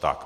Tak.